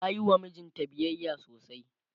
tayiwa mijinta biyayya sosai